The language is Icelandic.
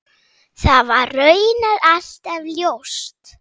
Það var raunar alltaf ljóst.